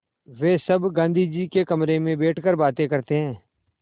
वे सब गाँधी जी के कमरे में बैठकर बातें करते हैं